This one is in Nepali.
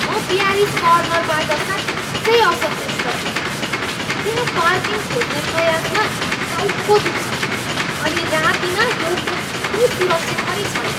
म प्यारिज कर्नरबाट साँच्चै असन्तुष्ट छु। त्यहाँ पार्किङ खोज्ने प्रयासमा टाउको दुख्छ, अनि रातिमा यो त्यति सुरक्षित पनि छैन।